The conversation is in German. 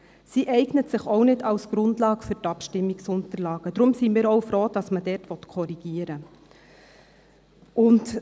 Sie eignet sich auch nicht als Grundlage für die Abstimmungsunterlagen, deswegen sind wir auch froh, dass man dort korrigieren will.